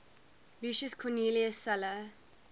lucius cornelius sulla